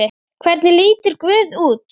Hvernig lítur guð út?